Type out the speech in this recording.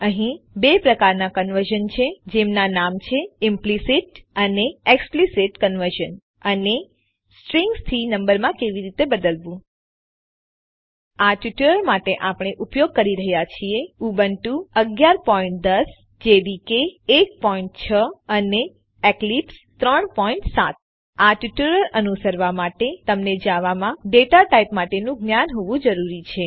અહીં બે પ્રકારના કન્વર્ઝન છે જેમના નામ છે ઈમ્પલીસીટ અને એક્સ્પલીસીટ કન્વર્ઝન અને સ્ટ્રિંગ્સથી નંબરમાં કેવી રીતે બદલવું આ ટ્યુટોરીયલ માટે આપણે ઉપયોગ કરી રહ્યા છીએ ઉબુન્ટુ 1110 જેડીકે 16 અને એક્લિપ્સ 37 આ ટ્યુટોરીયલ અનુસરવા માટે તમને જાવામાં ડેટા ટાઇપ માટેનું જ્ઞાન હોવું જરૂરી છે